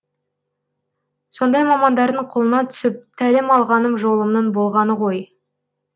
сондай мамандардың қолына түсіп тәлім алғаным жолымның болғаны ғой